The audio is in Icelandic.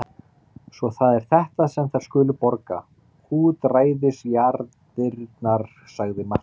Svo það er þetta sem þær skulu borga útræðisjarðirnar, sagði Marteinn.